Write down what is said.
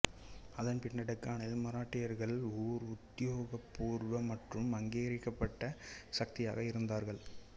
அதன்பின்னர் டெக்கானில் மராட்டியர்கள் ஓர் உத்தியோகப்பூர்வ மற்றும் அங்கீகரிக்கப்பட்ட சக்தியாக இருந்தார்கள்